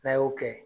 N'a y'o kɛ